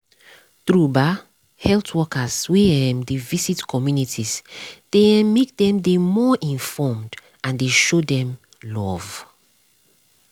true ba health workers wey um dey visit communities dey um make dem dey more informed and dey show dem love.